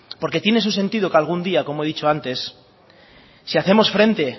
porque tiene su sentido como he dicho antes si hacemos frente